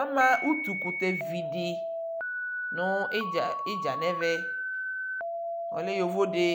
Amaa utuu kutɛ vidi niɖʒa nɛmɛɛ ɔlɛ yovodi